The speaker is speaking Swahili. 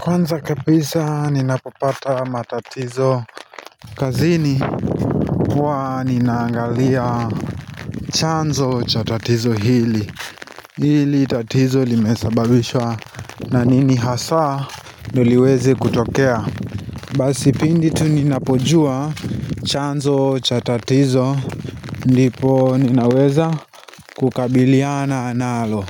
Kwanza kabisa ninapopata matatizo kazini huwa ninaangalia chanzo cha tatizo hili Hili tatizo limesababishwa na nini hasa ndio liwezi kutokea Basi pindi tumninapojua chanzo cha tatizo Ndipo ninaweza kukabiliana nalo